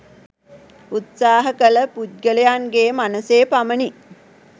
උත්සාහ කළ පුද්ගලයන්ගේ මනසේ පමණි